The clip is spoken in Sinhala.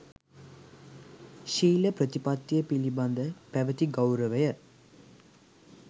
ශීල ප්‍රතිපත්තිය පිළිබඳ පැවැති ගෞරවය